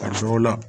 Karisa o la